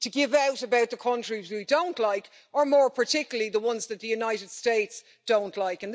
to give out about the countries we don't like or, more particularly, the ones that the United States don't like.